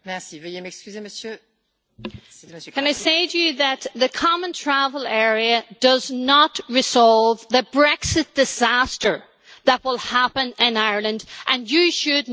Can I say to you that the Common Travel Area does not resolve the Brexit disaster that will happen in Ireland, and you should know that better than most.